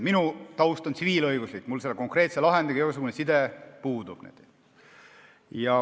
Minu taust on tsiviilõiguslik, mul selle konkreetse lahendiga igasugune side puudub.